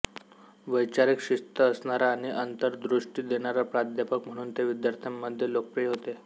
वैचारिक शिस्त असणारा आणि अंतर्दृष्टी देणारा प्राध्यापक म्हणून ते विद्यार्थ्यांमध्ये लोकप्रिय होते